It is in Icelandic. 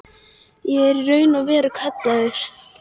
Ég er í raun og veru kallaður.